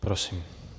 Prosím.